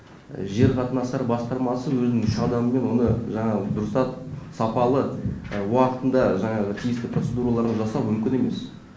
жер қатынастар басқармасы өзінің адамы болғанда жаңағы дұрыстап сапалы уақытында жаңағы тиісті процедураларын жасау мүмкін емес